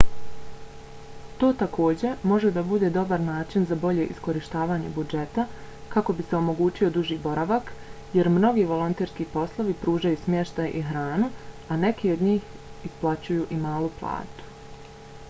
to takođe može da bude dobar način za bolje iskorištavanje budžeta kako bi se omogućio duži boravak jer mnogi volonterski poslovi pružaju smještaj i hranu a neki od njih isplaćuju i malu platu